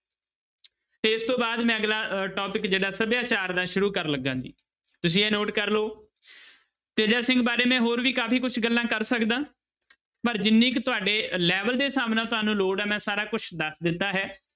ਤੇ ਇਸ ਤੋਂ ਬਾਅਦ ਮੈਂ ਅਗਲਾ ਅਹ topic ਜਿਹੜਾ ਸਭਿਆਚਾਰ ਦਾ ਸ਼ੂਰੂ ਕਰਨ ਲੱਗਾ ਜੀ ਤੁਸੀਂ ਇਹ note ਕਰ ਲਓ ਤੇਜਾ ਸਿੰਘ ਬਾਰੇ ਮੈਂ ਹੋਰ ਵੀ ਕਾਫ਼ੀ ਕੁਛ ਗੱਲਾਂ ਕਰ ਸਕਦਾਂ ਪਰ ਜਿੰਨੀ ਕੁ ਤੁਹਾਡੇ level ਦੇ ਹਿਸਾਬ ਨਾਲ ਤੁਹਾਨੂੰ ਲੋੜ ਹੈ ਮੈਂ ਸਾਰਾ ਕੁਛ ਦੱਸ ਦਿੱਤਾ ਹੈ।